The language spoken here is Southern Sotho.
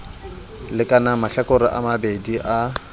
lekanang mahlakoreng a mabedi a